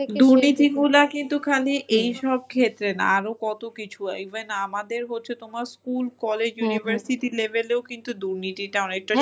দুর্নীতিগুলা কিন্তু খালি এই সব ক্ষেত্রে না আরো কত কিছু even আমাদের হচ্ছে তোমার school, college, university level -এও কিন্তু দুর্নীতিটা অনেকটা